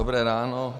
Dobré ráno.